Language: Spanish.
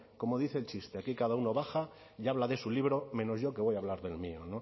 como dice el chiste aquí cada uno baja y habla de su libro menos yo que voy a hablar del mío